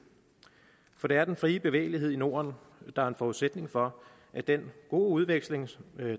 for det er den frie bevægelighed i norden der er en forudsætning for at den gode udveksling